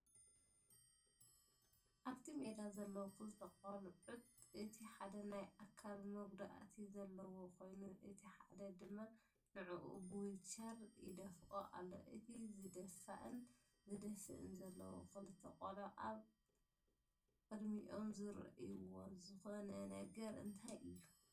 ኣብቲ ሜዳ ዘለዉ ክልተ ቆልዑት እቲ ሓደ ናይ ኣካል መጉዳእቲ ዘለዎ ኮይኑ እቲ ሓደ ድማ ንዕኡ ብቮውቸር ይደፍኦ ኣሎ፡፡ እቲ ዝድፋእን ዝደፍእን ዘለዉ ክልተ ቆልዑ ኣብ ኣብ ቅሚኦም ዝሪእዎ ዝኮነ ነገር እንታይ እዩ?